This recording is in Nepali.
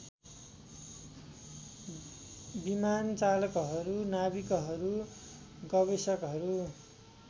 विमानचालकहरू नाविकहरू गवेषकहरू